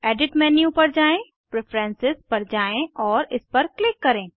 edit menu पर जाएँ preferences पर जाएँ और इस पर क्लिक करें